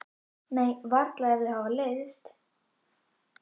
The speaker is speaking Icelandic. Nei, varla ef þau hafa leiðst.